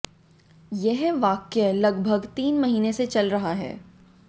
यह वाक्या लगभग तीन महीने से चल रहा है